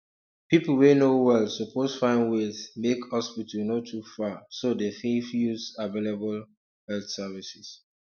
people wey no well suppose find ways make hospital no too far so dem fit use available health services